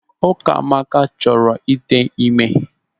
Ukamaka chọrọ ịte ime.